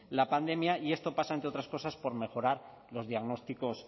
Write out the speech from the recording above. la pandemia y esto pasa entre otras cosas por mejorar los diagnósticos